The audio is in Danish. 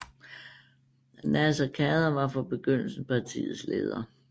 Naser Khader var fra begyndelsen partiets leder